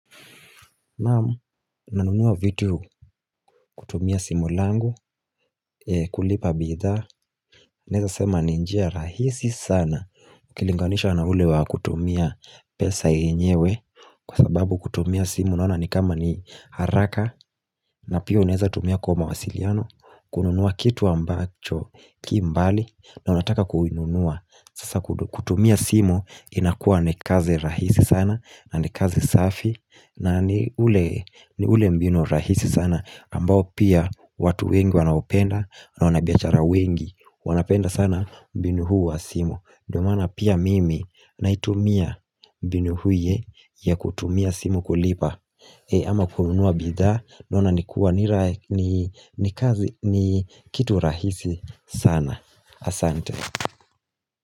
Naam, nanunua vitu, kutumia simu langu, kulipa bidhaa, naweza sema ni njia rahisi sana, ukilinganishwa na ule wa kutumia pesa yenyewe, kwa sababu kutumia simu naona ni kama ni haraka na pia unaweza tumia kwa wasiliano kununua kitu ambacho kimbali, na unataka kukinunua, sasa kutumia simu inakua ni kazi rahisi sana na ni kazi safi na ni ile mbinu rahisi sana, ambayo pia watu wengi wanaipenda, na wanabiashara wengi wanaipenda sana mbinu hii ya simu, ndio maana pia mimi naitumia mbinu hii ya kutumia simu kulipa ama kununua bidhaa naona nikuwa ni kazi, ni kitu rahisi sana, Asante.